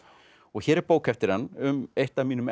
hér er bók eftir hann um eitt af mínum